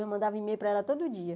Eu mandava e-mail para ela todo dia.